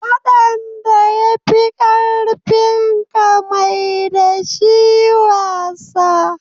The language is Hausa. Faɗan da ya fi ƙarfinka, mai da shi wasa